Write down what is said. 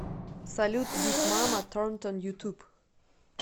салют биг мама торнтон ютуб